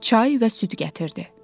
Çay və süd gətirdi.